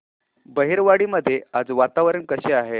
बहिरवाडी मध्ये आज वातावरण कसे आहे